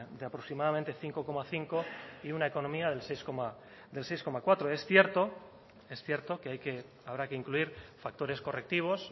de aproximadamente cinco coma cinco y una economía del seis coma cuatro es cierto es cierto que hay que habrá que incluir factores correctivos